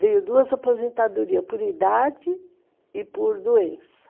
Veio duas aposentadorias, por idade e por doença.